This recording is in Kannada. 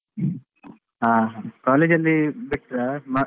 ಹಾ college ಬಿಟ್ರಾ ಹಾ?